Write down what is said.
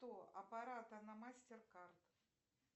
аппарата на мастер кард